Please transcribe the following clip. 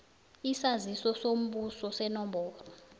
isaziso sombuso senomboro